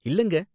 இல்லங்க